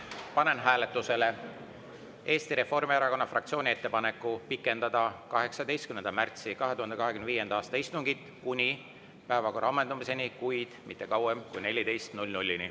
Panen hääletusele Eesti Reformierakonna fraktsiooni ettepaneku pikendada 18. märtsi 2025. aasta istungit kuni päevakorra ammendumiseni, kuid mitte kauem kui 14.00‑ni.